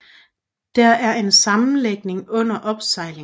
Der er en sammenlægning under opsejling